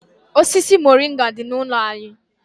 Osisi moringa dị n'ụlọ anyị.